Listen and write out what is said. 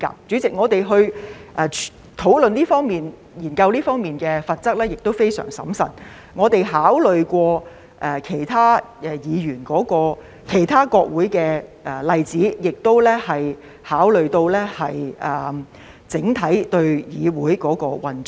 主席，我們在討論和研究這方面的罰則時也相當審慎，我們考慮過其他國會的例子，亦考慮到整體議會的運作。